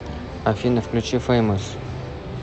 афина включи феймос